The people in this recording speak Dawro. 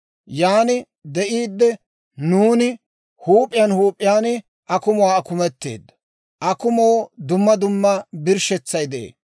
Yan de'iidde nuuni huup'iyaan huup'iyaan akumuwaa akumetteeddo; akumoo dumma dumma birshshetsay de'ee.